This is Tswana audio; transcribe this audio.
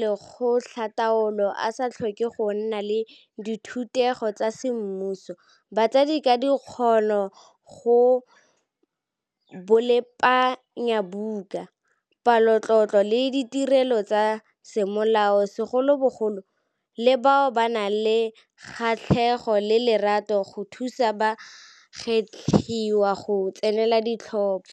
lekgotlataolo a sa tlhoke go nna le dithutego tsa semmuso, batsadi ka dikgono go bolepanyabuka, palotlotlo le ditirelo tsa semolao segolobogolo, le bao ba nang le kgatlhego le lerato go thuto ba gwetlhiwa go tsenela ditlhopho.